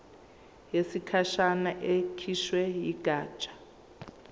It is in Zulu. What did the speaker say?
yesikhashana ekhishwe yigatsha